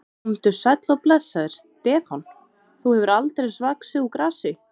Komdu sæll og blessaður, Stefán, þú hefur aldeilis vaxið úr grasi.